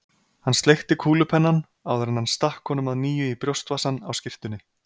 Hann sleikti kúlupennann, áður en hann stakk honum að nýju í brjóstvasann á skyrtunni.